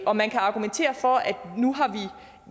og man kan argumentere for at